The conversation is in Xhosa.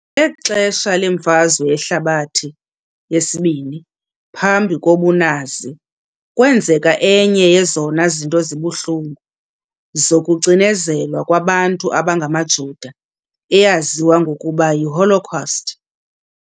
Ngexesha leMfazwe Yehlabathi II, phantsi kobunazi, kwenzeka enye yezona zinto zibuhlungu zokucinezelwa kwabantu abangamaJuda, eyaziwa ngokuba yiHolocaust.